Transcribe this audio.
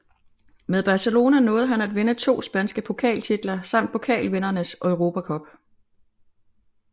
Med Barcelona nåede han at vinde to spanske pokaltitler samt Pokalvindernes Europa Cup